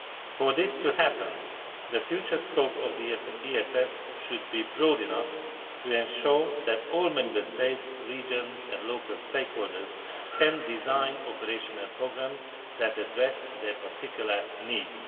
For this to happen, the future scope of the ESF should be broad enough to ensure that all Member States, regions and local stakeholders can design operational programmes that address their particular needs.